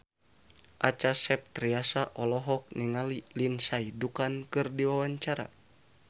Acha Septriasa olohok ningali Lindsay Ducan keur diwawancara